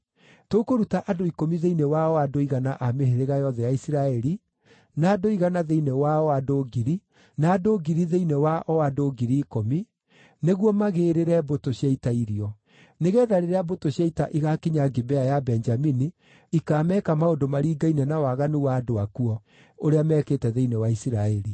Tũkũruta andũ ikũmi thĩinĩ wa o andũ igana a mĩhĩrĩga yothe ya Isiraeli, na andũ igana thĩinĩ wa o andũ ngiri, na andũ ngiri thĩinĩ wa o andũ ngiri ikũmi, nĩguo magĩĩrĩre mbũtũ cia ita irio. Nĩgeetha rĩrĩa mbũtũ cia ita igaakinya Gibea ya Benjamini, ikaameka maũndũ maringaine na waganu wa andũ akuo ũrĩa meekĩte thĩinĩ wa Isiraeli.”